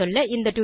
சுருங்கசொல்ல